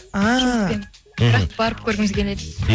ааа бірақ барып көргіміз келеді